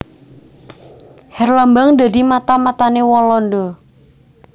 Herlambang dadi mata matané Walanda